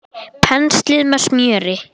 Penslið með smjöri.